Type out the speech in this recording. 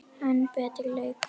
enn betri leikur.